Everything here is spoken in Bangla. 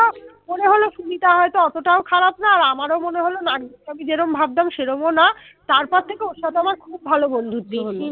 হয়তো অতটাও খারাপ না আর আমারও মনে হল নার্গিস কে আমি যেরম ভাবতাম সেরমও না, তারপর থেকে ওর সাথে আমার খুব ভালো বন্ধুত্ব হল